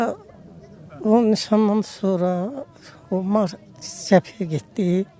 Sonra onun nişandan sonra cəbhəyə getdi.